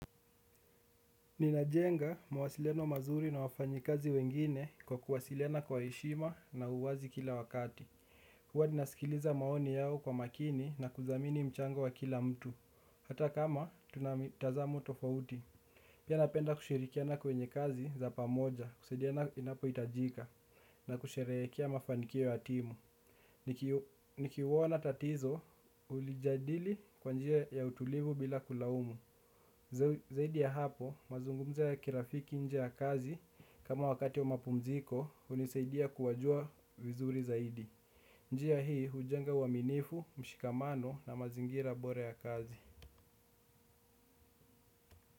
Ninajenga mawasileno mazuri na wafanyikazi wengine kwa kuwasiliana kwa heshima na uwazi kila wakati. Huwa ninasikiliza maoni yao kwa makini na kudhamini mchango wa kila mtu. Hata kama tuna mitazamo tofauti. Pia napenda kushirikiana kwenye kazi za pamoja, kusaidiana inapohitajika, na kusherehekea mafanikio ya timu. Nikiuona tatizo, hulijadili kwa njia ya utulivu bila kulaumu. Zaidi ya hapo mazungumzo ya kirafiki nje ya kazi kama wakati wa mapumziko hunisaidia kuwajua vizuri zaidi. Njia hii hujenga uaminifu, mshikamano na mazingira bora ya kazi.